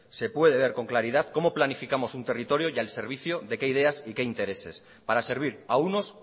se puede ver con claridad cómo planificamos un territorio y al servicio de qué ideas y qué intereses para servir a unos